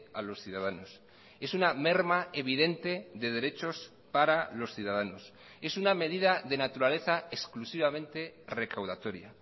a los ciudadanos es una merma evidente de derechos para los ciudadanos es una medida de naturaleza exclusivamente recaudatoria